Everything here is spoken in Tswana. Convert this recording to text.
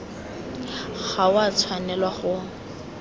ga go a tshwanelwa go